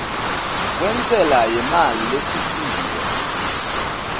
kwentsela yemali lesisiwe